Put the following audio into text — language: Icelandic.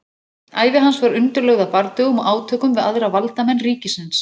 Ævi hans var undirlögð af bardögum og átökum við aðra valdamenn ríkisins.